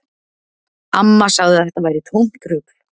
Amma sagði að þetta væri tómt rugl.